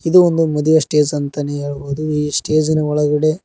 ಇದು ಒಂದು ಮದುವೆ ಸ್ಟೇಜ್ ಅಂತಾನೆ ಹೇಳ್ಬಹುದು ಈ ಸ್ಟೇಜ್ ಇನ ಒಳಗಡೆ--